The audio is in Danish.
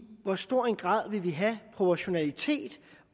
hvor stor en grad vi vil have proportionalitet